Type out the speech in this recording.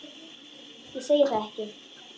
Ég segi það ekki.